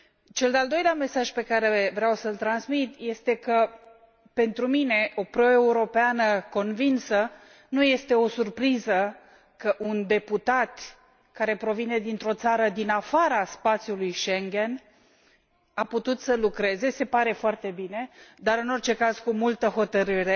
Cel de al doilea mesaj pe care vreau să îl transmit este că pentru mine, o proeuropeană convinsă, nu este o supriză că un deputat care provine dintr o țară din afara spațiului Schengen, a putut să lucreze, se pare foarte bine, dar, în orice caz, cu multă hotărâre,